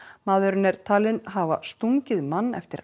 maðurinn er talinn hafa stungið mann eftir